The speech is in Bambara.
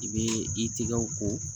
I bɛ i tigɛw ko